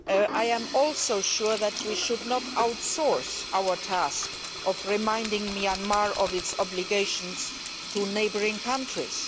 I am also sure that we should not outsource our task of reminding Myanmar of its obligations to neighbouring countries.